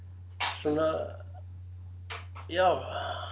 svona já